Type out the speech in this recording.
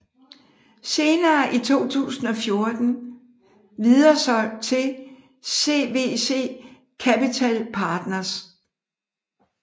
Senere i 2014 videresolgt til CVC Capital Partners